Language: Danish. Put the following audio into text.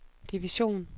division